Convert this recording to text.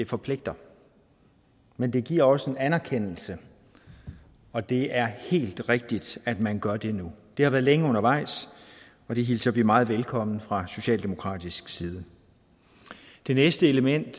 forpligter men det giver også en anerkendelse og det er helt rigtigt at man gør det nu det har været længe undervejs og vi hilser det element meget velkommen fra socialdemokratisk side det næste element